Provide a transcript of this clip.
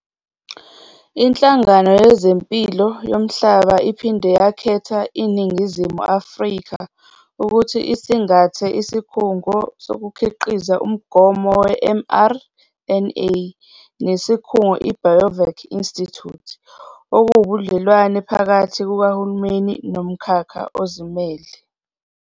Inhlangano Yezempilo Yomhlaba iphinde yakhetha iNingizimu Afrika ukuthi isingathe isikhungo sokukhiqiza umgomo we-mRNA nesikhungo i-Biovac Institute, okuwubudlelwane phakathi kukahulumeni nomkhakha ozimele.